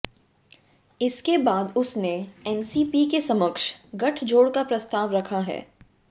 इसके बाद उसने एनसीपी के समक्ष गठजोड़ का प्रस्ताव रखा है